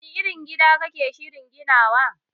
Wani irin gida kake shirin ginawa